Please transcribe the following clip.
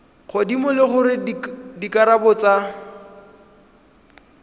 godimo le gore dikarabo tsa